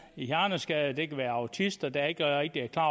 hjerneskadede det kan være autister der ikke rigtig er klar